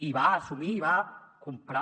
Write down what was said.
i va assumir i va comprar